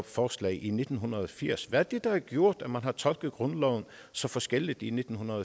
forslag i nitten firs hvad er det der har gjort at man har tolket grundloven så forskelligt i nitten